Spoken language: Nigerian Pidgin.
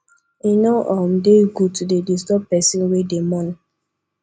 e no um dey good to dey disturb pesin wey dey mourn